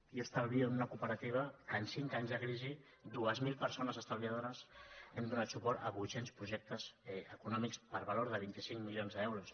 jo estalvio en una cooperativa que en cinc anys de crisi dues mil persones estalviadores hem donat suport a vuitcents projectes econòmics per valor de vint cinc milions d’euros